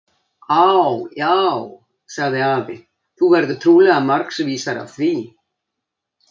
Á, já, sagði afi, þú verður trúlega margs vísari af því.